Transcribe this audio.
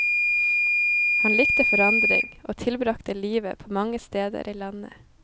Han likte forandring, og tilbragte livet på mange steder i landet.